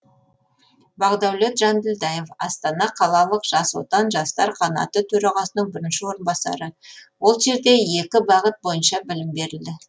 бақдаулет жанділдаев астана қалалық жас отан жастар қанаты төрағасының бірінші орынбасары ол жерде екі бағыт бойынша білім берілді